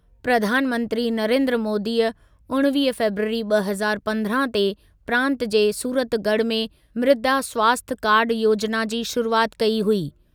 प्रधानमंत्री नरेन्द्र मोदीअ उणिवीह फ़ेबरवरी ॿ हज़ार पंद्रहं ते प्रांत जे सूरतगढ़ में मृदा स्वास्थ्य कार्ड योजिना की शुरूआति कई हुई।